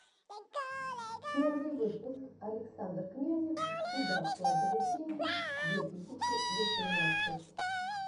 первый выпуск александр князев куда вкладывать деньги две тысячи восемнадцать